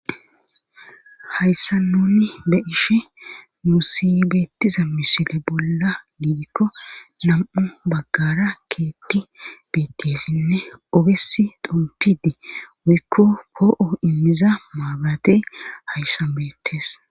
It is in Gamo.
Hayssa nuni be'ishe nuusi beettiza misile bolla giidikko nam'u baggara keeththi beettessinne ogesi xompidi woykko poo'o immiza maabarate hayssan beettes.